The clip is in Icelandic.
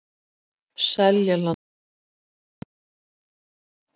Seljalandsskóla